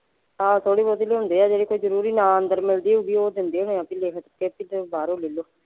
ਆਹੋ ਥੋੜੀ ਬਹੁਤੀ ਲਿਆਉਂਦੇ ਆ ਜਿਹੜੀ ਕੋਈ ਜਰੂਰੀ ਨਾ ਅੰਦਰ ਮਿਲਦੀ ਹੋਉਗੀ ਓਹ ਦਿੰਦੇ ਹੋਣੇ ਆ ਬੀ ਲਿਖ ਕੇ ਤੇ ਬਾਹਰੋਂ ਲੈ ਲਓ।